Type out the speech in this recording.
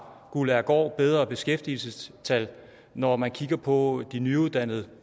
guldagergaard bedre beskæftigelsestal når man kigger på de nyuddannede